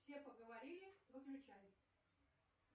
все поговорили выключай